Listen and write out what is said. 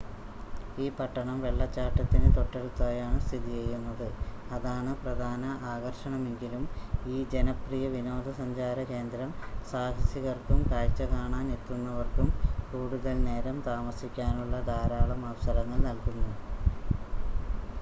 ഈ പട്ടണം വെള്ളച്ചാട്ടത്തിന് തൊട്ടടുത്തായാണ് സ്ഥിതിചെയ്യുന്നത് അതാണ് പ്രധാന ആകർഷണമെങ്കിലും ഈ ജനപ്രിയ വിനോദസഞ്ചാര കേന്ദ്രം സാഹസികർക്കും കാഴ്‌ച കാണാൻ എത്തുന്നവർക്കും കൂടുതൽ നേരം താമസിക്കാനുള്ള ധാരാളം അവസരങ്ങൾ നൽകുന്നു